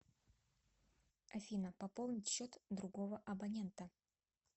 афина пополнить счет другого абонента